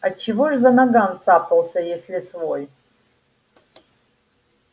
а чего ж за наган цапался если свой